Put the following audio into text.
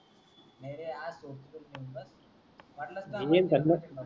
नाहीरे आज सोडतो तुला नंतर